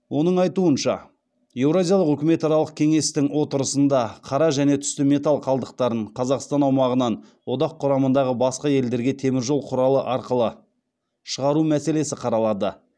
оның айтуынша еуразиялық үкіметаралық кеңестің отырысында қара және түсті металл қалдықтарын қазақстан аумағынан одақ құрамындағы басқа елдерге теміржол құралы арқылы шығару мәселесі қаралады